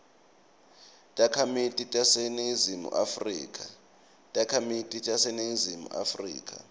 takhamiti taseningizimu afrika